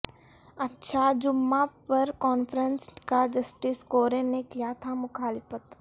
اچھا جمعہ پر کانفرنس کا جسٹس کورین نے کیا تھا مخالفت